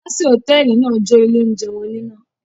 Alásè hòtẹ́ẹ́lì náà jó ilé-oúnjẹ wọn níná.